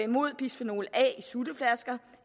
mod bisfenol a i sutteflasker